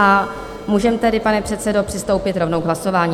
A můžeme tedy, pane předsedo, přistoupit rovnou k hlasování?